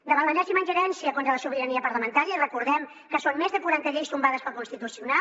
davant l’enèsima ingerència contra la sobirania parlamentària recordem que són més de quaranta lleis tombades pel constitucional